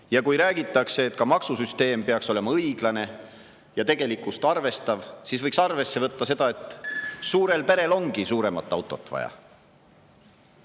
Ja kui räägitakse, et ka maksusüsteem peaks olema õiglane ja tegelikkust arvestav, siis võiks arvesse võtta seda, et suurel perel ongi suuremat autot vaja.